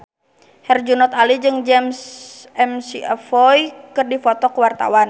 Herjunot Ali jeung James McAvoy keur dipoto ku wartawan